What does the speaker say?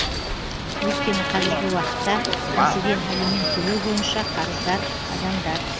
өйткені қазіргі уақытта мәселен алимент төлеу бойынша қарыздар адамдар